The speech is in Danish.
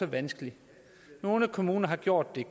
vanskelig nogle kommuner har gjort det